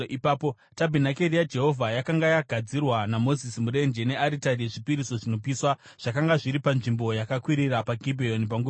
Tabhenakeri yaJehovha yakanga yagadzirwa naMozisi murenje. Nearitari yezvipiriso zvinopiswa zvakanga zviri panzvimbo yakakwirira paGibheoni panguva iyoyo.